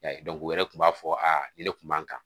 u yɛrɛ tun b'a fɔ aa ne kun b'an kan